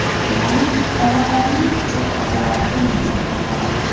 Ya’ni tomonlarning kuchi o‘zaro teng desak ham bo‘ladi.